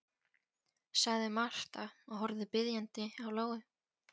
sagði Marta og horfði biðjandi á Lóu.